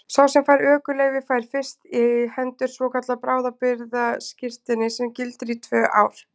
Sá sem fær ökuleyfi fær fyrst í hendur svokallað bráðabirgðaskírteini sem gildir í tvö ár.